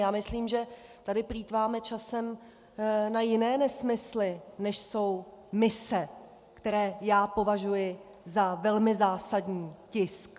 Já myslím, že tady plýtváme časem na jiné nesmysly, než jsou mise, které já považuji za velmi zásadní tisk.